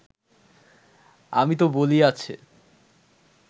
আমি ত বলি আছে